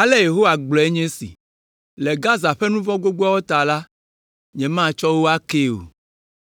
Ale Yehowa gblɔe nye esi, “Le Gaza ƒe nu vɔ̃ gbogboawo ta la, nyematsɔ wo akee o,